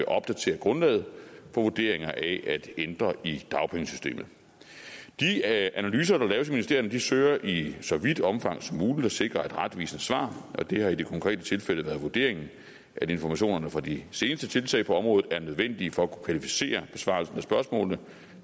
opdatere grundlaget for vurderinger af ændringer i dagpengesystemet de analyser der laves i ministerierne søger i så vidt omfang som muligt at sikre et retvisende svar og det har i det konkrete tilfælde været vurderingen at informationerne fra de seneste tiltag på området er nødvendige for at kunne kvalificere besvarelserne af spørgsmålene